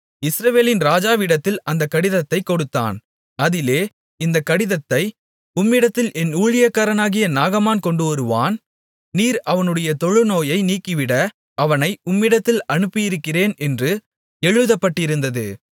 இஸ்ரவேலின் ராஜாவிடத்தில் அந்தக் கடிதத்தைக் கொடுத்தான் அதிலே இந்தக் கடிதத்தை உம்மிடத்தில் என் ஊழியக்காரனாகிய நாகமான் கொண்டுவருவான் நீர் அவனுடைய தொழுநோயை நீக்கிவிட அவனை உம்மிடத்தில் அனுப்பியிருக்கிறேன் என்று எழுதப்பட்டிருந்தது